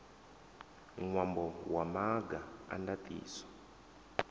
ṅwambo wa maga a ndaṱiso